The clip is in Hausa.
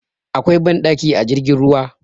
Akwai banɗaki a jirgin ruwa